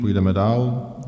Půjdeme dál.